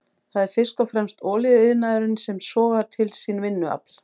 Það er fyrst og fremst olíuiðnaðurinn sem sogar til sín vinnuafl.